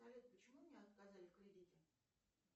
салют почему мне отказали в кредите